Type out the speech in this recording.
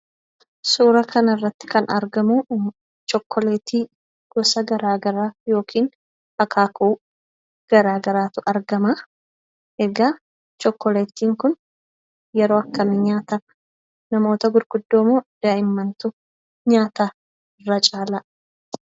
Suuraa kanarratti kana argamu chookoleetii garaagaraa yookiin akaakuu garaagaraatu argama. Egaa chookoleetiin kun yeroo akkamii nyaatama? Namoota gurguddoo moo daa'immantu nyaata irra caalaatti?